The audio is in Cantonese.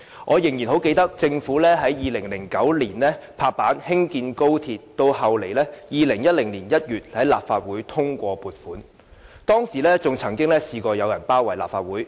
我仍然很記得，政府在2009年落實興建高鐵，到2010年1月立法會通過撥款，當時曾經有人包圍立法會。